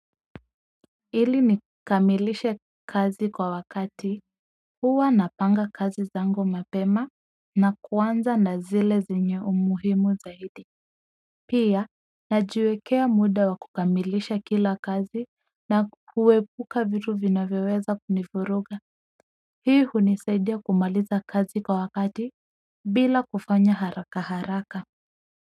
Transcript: Ili nikamilishe kazi kwa wakati huwa napanga kazi zangu mapema na kuanza na zile zenye umuhimu zaidi pia najiwekea muda wa kukamilisha kila kazi na kuepuka vitu vinavyoweza kunivuruga hii hunisaidia kumaliza kazi kwa wakati bila kufanya haraka haraka.